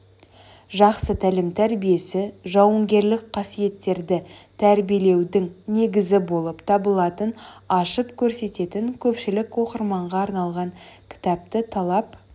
жақсы тәлім-тәрбиесі жауынгерлік қасиеттерді тәрбиелеудің негізі болып табылатынын ашып көрсететін көпшілік оқырманға арналған кітапты талап